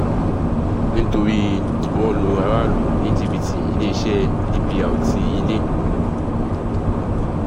nítorí wọ́n ń lu aráàlú ní jìbìtì iléeṣẹ́ dpr ti ilé